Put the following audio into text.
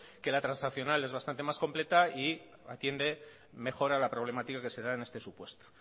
que la transaccional es bastante más completa y atiende mejor a la problemática que se da en este supuesto